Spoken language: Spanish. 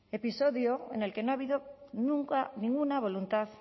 episodio en el que no ha habido nunca ninguna voluntad